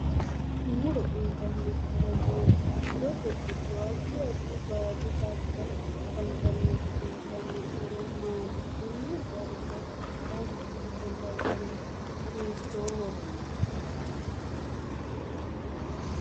Muro uyiitanno horo maati murote giddo addi addi baadi xagga afantanoti uyiitanno horo maati konne darga baatote ofolla gari hiitooho